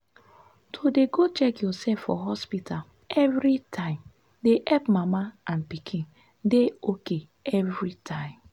to dey go check yoursef for hospta everi time dey epp mama and pikin dey ok everytime.